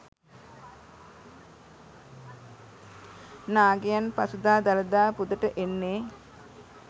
නාගයන් පසුදා දළදා පුදට එන්නේ